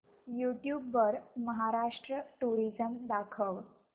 YouTube वर Maharashtra tourism दाखव